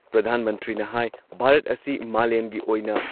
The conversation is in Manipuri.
ꯄ꯭ꯔꯙꯥꯟ ꯃꯟꯇ꯭ꯔꯤꯅ ꯍꯥꯥꯏ ꯚꯥꯔꯠ ꯑꯁꯤ ꯃꯥꯂꯦꯝꯒꯤ ꯑꯣꯏꯅ